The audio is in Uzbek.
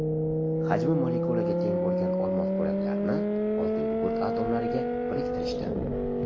Hajmi molekulaga teng bo‘lgan olmos bo‘laklarini oltingugurt atomlariga biriktirishdi.